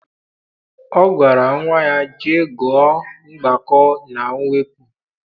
Ọ gwara nnwa ya, jee gụọ mgbakọ na mwepụ!